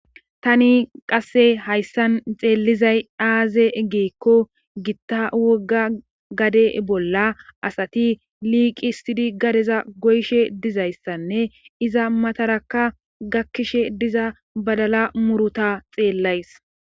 Tani qasse hayssan xeellizay aaze ggikko gitta wogga gade bolla asati liiqiissidi gadeza goyshe dizayssanne iza matarakka gakkishe diza badala muruta xeellays